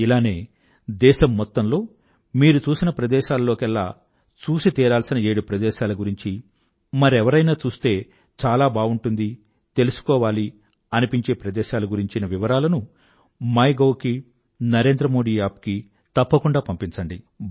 ఇలానే దేశం మొత్తంలో మీరు చూసిన ప్రదేశాలలోకెల్లా చూసి తీరాల్సిన ఏడు ప్రదేశాల గురించి మరెవరైనా చూస్తే చాలా బావుంటుంది తెలుసుకోవాలి అనిపించే ప్రదేశాల గురించిన వివరాలనుమైగోవ్ కీ NarendraModiApp కీ తప్పకుండా పంపించండి